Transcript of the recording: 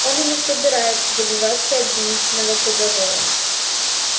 он и не собирается добиваться обвинительного приговора